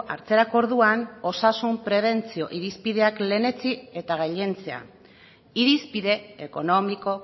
hartzerako orduan osasun prebentzio irizpideak lehenetsi eta gailentzea irizpide ekonomiko